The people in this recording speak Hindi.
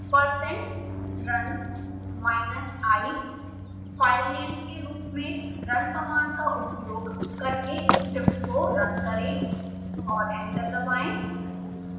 percent run minus i filename के रूप में रन कमांड का उपयोग करके स्क्रिप्ट को रन करें और एंटर दबाएं